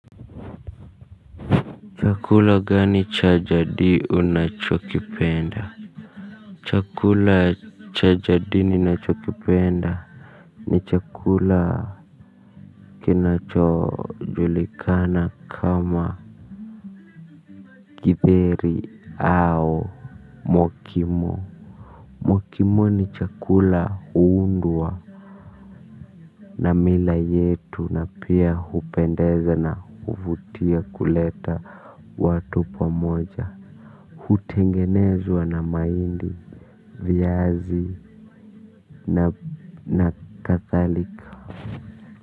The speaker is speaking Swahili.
Chakula gani cha jadi unachokipenda chakula cha jadi ni unachokipenda ni chakula kinacho julikana kama kitheri au mokimo mokimo ni chakula hundwa na mila yetu na pia hupendeza na huvutia kuleta watu pamoja hutengenezwa na maindi vyazi na kathalika.